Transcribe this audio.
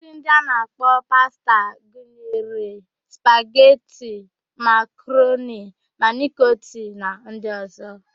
Nri ndị a na-akpọ pasta gunyere: spageti, makaroni, manịkoti na ndị ọ̀zọ́.